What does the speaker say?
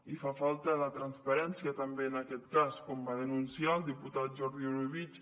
i fa falta la transparència també en aquest cas com va denunciar el diputat jordi orobitg